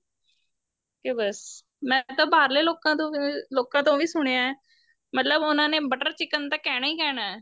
ਕੀ ਬੱਸ ਮੈਂ ਤਾਂ ਬਾਹਰਲੇ ਲੋਕਾ ਤੋਂ ਲੋਕਾ ਤੋਂ ਵੀ ਸੁਣਿਆ ਮਤਲਬ ਉਹਨਾ ਨੇ butter chicken ਤਾਂ ਕਹਿਣਾ ਈ ਕਹਿਣਾ